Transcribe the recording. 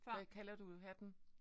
Hvad kalder du hatten?